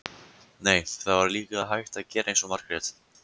Nei, það var líka hægt að gera eins og Margrét.